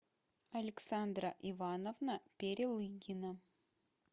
александра ивановна перелыгина